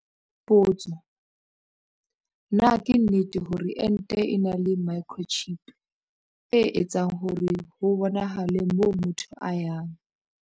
Potso- Na ke nnete hore ente e na le microchip, e etsang hore ho bonahale moo motho a yang?